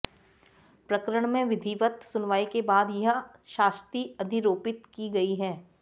प्रकरण में विधिवत् सुनवाई के बाद यह शास्ति अधिरोपित की गई है